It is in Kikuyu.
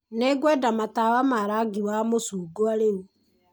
Nĩngwenda matawa ma rangi wa macungwa rĩu.